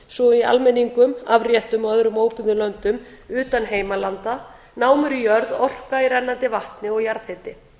og í almenningum afréttum og öðrum óbyggðum löndum utan heimalanda námur í jörð orka í rennandi vatni og jarðhiti